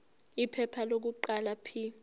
iphepha lokuqala p